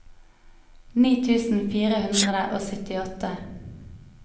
ni tusen fire hundre og syttiåtte